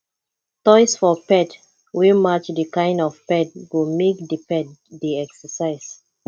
toys for pet wey match di kind of pet go make di pet dey exercise